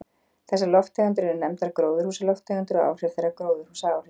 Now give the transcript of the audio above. Þessar lofttegundir eru nefndar gróðurhúsalofttegundir og áhrif þeirra gróðurhúsaáhrif.